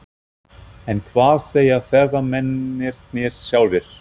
En hvað segja ferðamennirnir sjálfir?